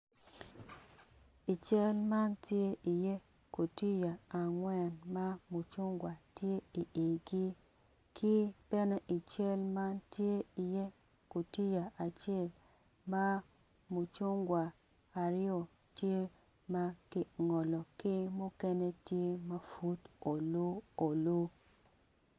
I cal man tye iye gutiya angwen ma mucungwa tye igi ki bene i cal man tye iye gutiya acel ma mucungwa aryo tye ma kingolo ki mukene tye ma pud olu olu.